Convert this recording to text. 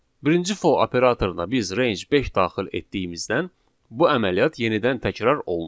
Birinci for operatoruna biz range 5 daxil etdiyimizdən bu əməliyyat yenidən təkrar olunur.